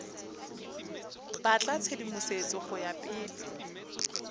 batla tshedimosetso go ya pele